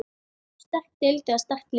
Sterk deild eða sterk lið?